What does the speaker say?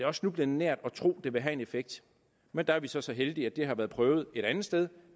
også snublende nært at tro at det vil have en effekt men der er vi så så heldige at det har været prøvet et andet sted